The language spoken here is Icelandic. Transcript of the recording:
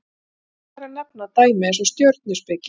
nægir þar að nefna dæmi eins og stjörnuspeki